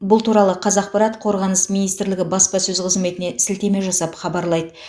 бұл туралы қазақпарат қорғаныс министрлігі баспасөз қызметіне сілтеме жасап хабарлайды